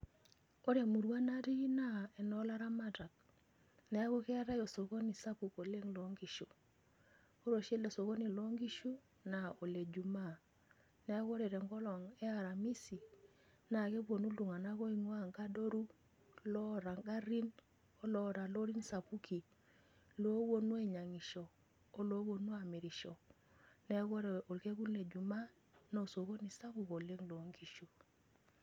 Ore emurua natii naa enoo laramatak niaku keetae osokoni sapuk loonkishu . Ore oshi ele sokoni loonkishu naa ole jumaa, niaku ore aramisi keponu iltunganak oingwaa nkadoru ,loota ngarin , oloota lorin sapukin , looponu ainyiangisho , oloponu amirisho. Niaku ore orkekun le jumaa naa osokoni sapuk oleng loo nkishu.